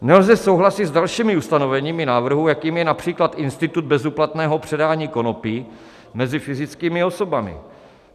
Nelze souhlasit s dalšími ustanoveními návrhu, jakým je například institut bezúplatného předání konopí mezi fyzickými osobami.